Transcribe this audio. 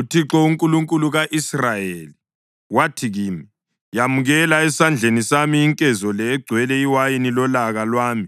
UThixo, uNkulunkulu ka-Israyeli wathi kimi, “Yamukela esandleni sami inkezo le egcwele iwayini lolaka lwami